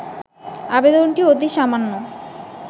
আবেদনটি অতি সামান্য